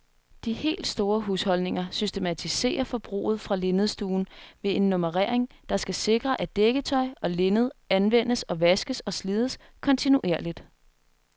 De helt store husholdninger systematiserer forbruget fra linnedstuen ved en nummerering, der skal sikre, at dækketøj og linned anvendes, vaskes og slides kontinuerligt.